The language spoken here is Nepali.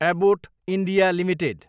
Abbott India Ltd